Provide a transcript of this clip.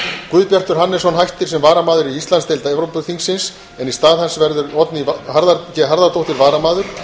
guðbjartur hannesson hættir sem varamaður í íslandsdeild evrópuráðsþingsins en í stað hans verður oddný g harðardóttir varamaður